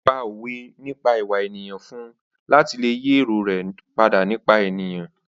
Ó pá òwe nípa ìwà ènìyàn fún un láti lè yí èrò rẹ nípa ènìyàn padà.